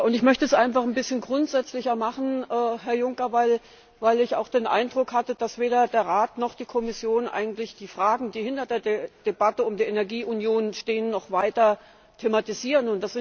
Ich möchte es einfach ein bisschen grundsätzlicher machen, Herr Juncker, weil ich auch den Eindruck hatte, dass weder der Rat noch die Kommission die Fragen, die hinter der Debatte um die Energieunion stehen, noch weiter thematisieren.